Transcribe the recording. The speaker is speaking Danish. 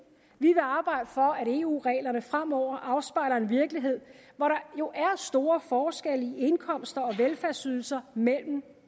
vi vil arbejde for at eu reglerne fremover afspejler en virkelighed hvor der jo er store forskelle i indkomster og velfærdsydelser